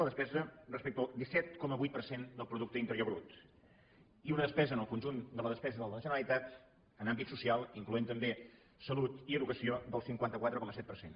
la despesa respecte al disset coma vuit per cent del producte interior brut i una despesa en el conjunt de la despesa de la generalitat en àmbit social incloent també salut i educació del cinquanta quatre coma set per cent